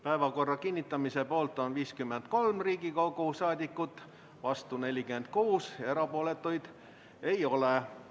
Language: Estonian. Päevakorra kinnitamise poolt on 53 Riigikogu liiget, vastu 46 ja erapooletuid ei ole.